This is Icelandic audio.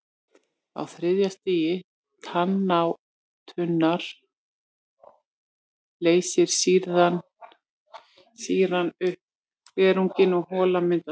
Á þriðja stigi tannátunnar leysir sýran upp glerunginn og hola myndast.